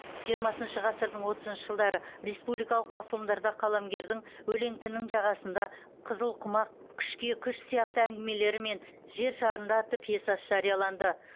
жиырмасыншы ғасырдың отызыншы жылдары республикалық басылымдарда қаламгердің өлеңтінің жағасында қызыл құмақ күшке күш сияқты әңгімелері мен жер шарында атты пьесасы жарияланды